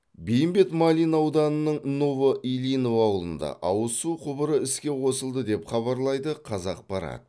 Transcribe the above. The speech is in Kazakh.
бейімбет майлин ауданының новоильинов ауылында ауыз су құбыры іске қосылды деп хабарлайды қазақпарат